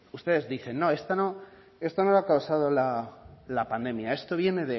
ustedes dicen no esto no esto no lo ha causado la pandemia esto viene